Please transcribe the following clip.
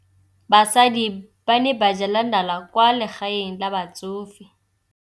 Basadi ba ne ba jela nala kwaa legaeng la batsofe.